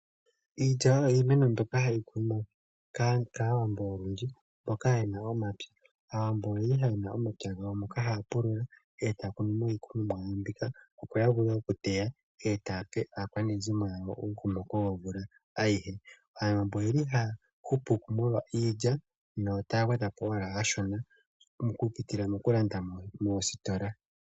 Iilya oyo iimeno mbyoka hayi kunwa kAawamboka olundji mboka yena omapya. Aawambo oye li yena omapya gawo ngoka haya pulula e taya kunu mo iikunomwa yawo mbika, opo ya vule okuteya e taya pe aakwanezimo yawo omukokomoko gomvula ayihe. Aawambo oye li haya hupu molwa iilya yp taya gwedha po owala okashona mokupitila mokulanda moositola.